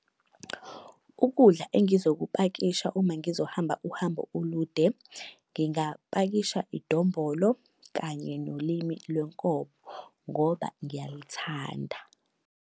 Ukudla engizokupakisha uma ngizohamba uhambo olude, ngingapakisha idombolo kanye nolimi lwenkomo ngoba ngiyalithanda.